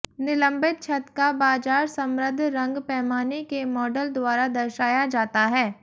निलंबित छत का बाजार समृद्ध रंग पैमाने के मॉडल द्वारा दर्शाया जाता है